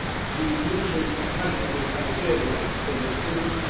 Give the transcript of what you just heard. the inclusion of measurable criteria for legibility